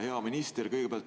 Hea minister!